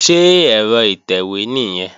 Ṣé ẹ̀rọ ìtẹ̀wé nìyẹn?